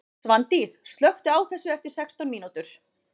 Svandís, slökktu á þessu eftir sextán mínútur.